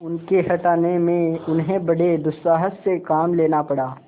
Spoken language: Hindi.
उनके हटाने में उन्हें बड़े दुस्साहस से काम लेना पड़ा